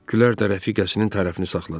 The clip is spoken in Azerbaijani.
Gülər də rəfiqəsinin tərəfini saxladı.